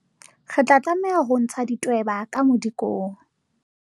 Re tla tlameha ho ntsha ditweba ka modikong.